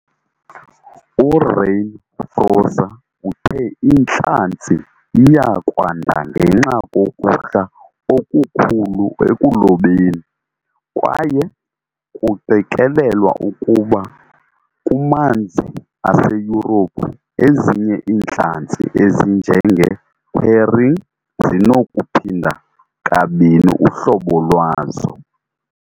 URainer Froese uthe intlanzi iya kwanda ngenxa kokuhla okukhulu ekulobeni, kwaye kuqikelelwa ukuba kumanzi aseYurophu, ezinye iintlanzi ezinjenge-herring zinokuphinda kabini uhlobo lwazo.